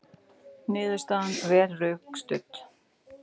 Niðurstaðan vel rökstudd